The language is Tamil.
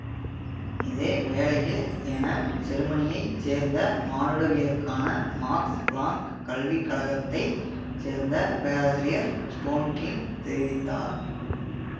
இதே வேளையில் என செருமனியை சேர்ந்த மானுடவியலுக்கான மாக்ஸ் பிளாங்க் கல்விக் கழகத்தை சேர்ந்த பேராசிரியர் ஸ்டோன்கிங் தெரிவித்தார்